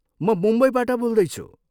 म मुम्बईबाट बोल्दैछु ।